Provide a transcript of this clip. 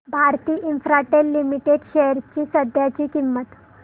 Bharti Infratel limited shares ची सध्याची किंमत